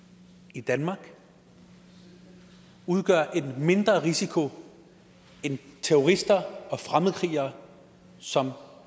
i danmark udgør en mindre risiko end terrorister og fremmedkrigere som